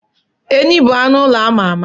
Ehi bụ anụ ụlọ ama ama.